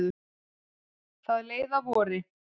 Það leið að vori.